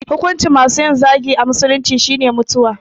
Hukuncin masu yin zagi a musulunci shine mutuwa